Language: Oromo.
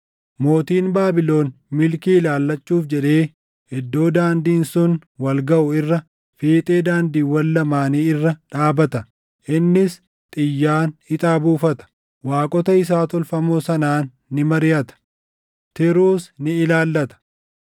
Mootiin Baabilon milkii ilaallachuuf jedhee iddoo daandiin sun wal gaʼu irra, fiixee daandiiwwan lamaanii irra dhaabata; innis xiyyaan ixaa buufata; waaqota isaa tolfamoo sanaan ni mariʼata; tiruus ni ilaallata.